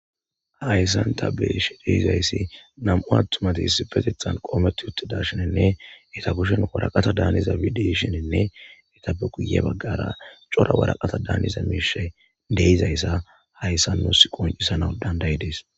Hayssan ta besh deizayssi nam7u attumatiis petethan qoometti utte dashenenne eta bushen woraqata daaniza bideshinenne etabe guye baggara cora waraqata daaniza miishay deizayssa hayssa nos qoncisanau dandayi dees.